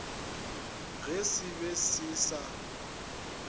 ge se be se sa